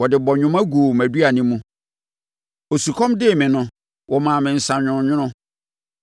Wɔde bɔnwoma guu mʼaduane mu, osukɔm dee me no, wɔmaa me nsã nwononwono.